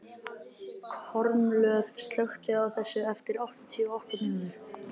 Kormlöð, slökktu á þessu eftir áttatíu og átta mínútur.